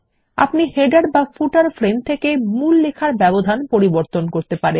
আপনি শিরোলেখ বা পাদলেখ ফ্রেম থেকে মূল লেখার ব্যবধান পরিবর্তন করতে পারেন